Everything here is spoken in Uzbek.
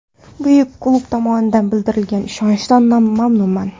Buyuk klub tomonidan bildirilgan ishonchdan mamnunman.